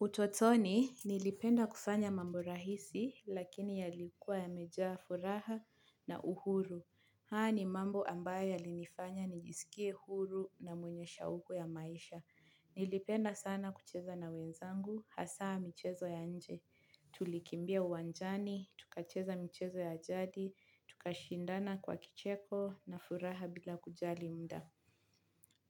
Utotoni nilipenda kufanya mambo rahisi lakini yalikuwa yamejaa furaha na uhuru. Haya ni mambo ambayo yalinifanya nijisikie huru na mwenye shauku ya maisha. Nilipenda sana kucheza na wenzangu hasa mchezo ya nje. Tulikimbia uwanjani, tukacheza mchezo ya jadi, tukashindana kwa kicheko na furaha bila kujali muda.